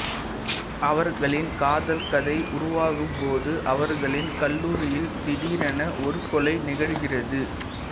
அவர்களின் காதல் கதை உருவாகும்போது அவர்களின் கல்லூரியில் திடீரென ஒரு கொலை நிகழ்கிறது